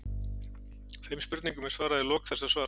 Þeim spurningum er svarað í lok þessa svars.